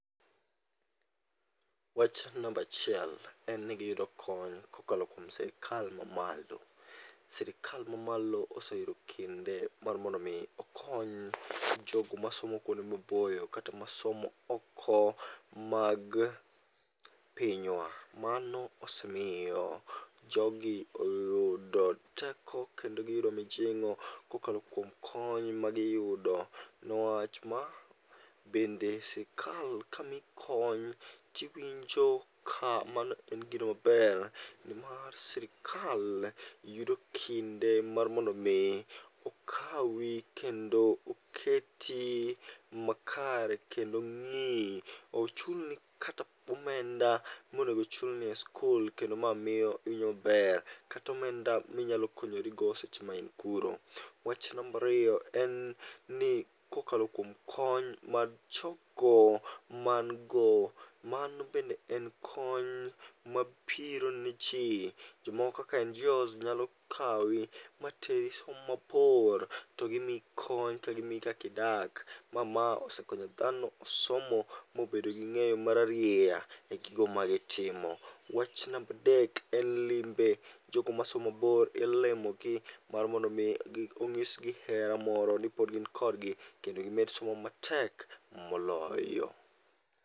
Wach nambachiel en ni giyudo kony kokalo kuom sirikal mamalo. Sirikal mamalo oseyudo kinde mar mondo mi okony jogo masomo kuonde maboyo kata masomo oko mag pinywa. Mano osemiyo jogi oyudo teko kendo giyudo mijing'o kokalo kuom kony magiyudo. Newach ma bende sikal ka miyi kony tiwinjo ka mano en gino maber, nimar sirikal yudo kinde mar mondo mi okawi kendo oketi makare. Kendo ng'iyi, ochulni kata omenda mondo mi ochulni e skul kendo ma miyo iwinjo maber. Kata omenda minyalo konyorigo seche main kuno. Wach nambariyo en ni kokalo kuom kony mar jogo man go mano bende en konyo mabiro ne ji, jomoko kaka NGOs nyalo kawi materi somo mabor. To gimiyi kony kaka giiyi kakidak, ma ma osekonyo dhano osomo mobedo gi ng'eyo mararieya e gigo magitimo. Wach nambadek en lime: jogo masomo mabor ilimo gi mar mondo mi ong'isgi hera moro ni pod gin kodgi kendo gimed somo matek moloyo.